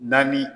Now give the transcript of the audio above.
Naani